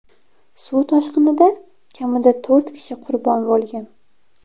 Suv toshqinida kamida to‘rt kishi qurbon bo‘lgan.